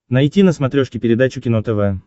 найти на смотрешке передачу кино тв